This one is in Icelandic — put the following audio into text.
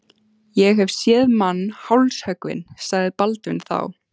Ég hef séð mann hálshöggvinn, sagði Baldvin þá.